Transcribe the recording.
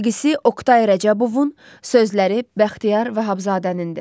Musiqisi Oqtay Rəcəbovun, sözləri Bəxtiyar Vahabzadənindir.